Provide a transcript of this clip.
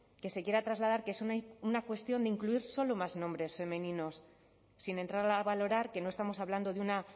que se quiera trasladar que es una cuestión de incluir solo más nombres femeninos sin entrar a valorar que no estamos hablando de una